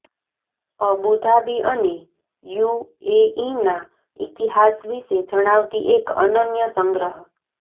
Abu Dhabi અને યુએઇના ઇતિહાસ વિશે જણાવતી એક અનન્ય સંગ્રહ